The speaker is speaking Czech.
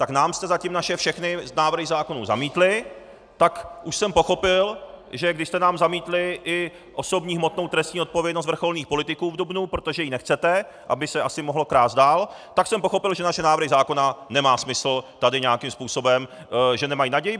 Tak nám jste zatím naše všechny návrhy zákonů zamítli, tak už jsem pochopil, že když jste nám zamítli i osobní hmotnou trestní odpovědnost vrcholných politiků v dubnu, protože ji nechcete, aby se asi mohlo krást dál, tak jsem pochopil, že naše návrhy zákona nemá smysl tady nějakým způsobem - že nemají naději.